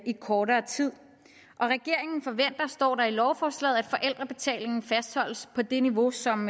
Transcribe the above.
i kortere tid og regeringen forventer står der i lovforslaget at forældrebetalingen fastholdes på det niveau som